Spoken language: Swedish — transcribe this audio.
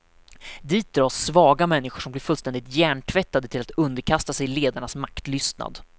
Dit dras svaga människor som blir fullständigt hjärntvättade till att underkasta sig ledarnas maktlystnad.